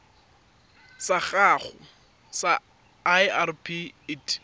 sa gago sa irp it